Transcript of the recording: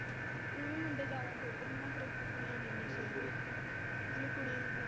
ਹੁਣ ਮੁੰਡੇ ਜਿਆਦਾ ਖੇਡਦੇ ਨਹੀਂ ਨਾ ਕ੍ਰਿਕਟ ਕੁੜੀਆਂ .